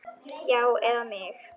Já, eða mig?